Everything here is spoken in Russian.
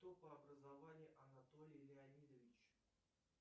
кто по образованию анатолий леонидович